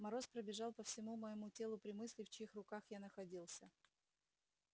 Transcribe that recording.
мороз пробежал по всему моему телу при мысли в чьих руках я находился